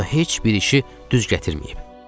Amma heç bir işi düz gətirməyib.